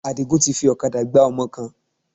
Àdìgún fi ọ̀kadà gbá ọmọ kan.